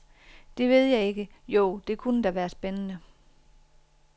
Det ved jeg ikke, jo, det kunne da være spændende.